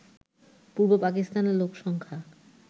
পূর্ব পাকিস্তানের লোকসংখ্যা